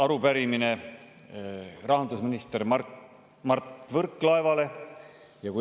Arupärimine on rahandusminister Mart Võrklaevale.